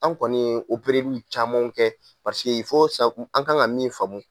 An kɔni ye opereliw camanw kɛ an kan ka min faamu